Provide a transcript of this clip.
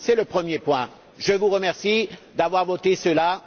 C'est le premier point. Je vous remercie d'avoir voté cela